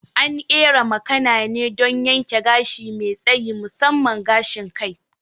An ƙera makana ne don yanke gashi mai tsayi, musamman gashin kai.